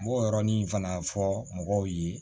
N b'o yɔrɔnin fana fɔ mɔgɔw ye